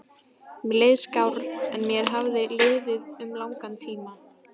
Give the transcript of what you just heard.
Mér leið skár en mér hafði liðið um langan tíma.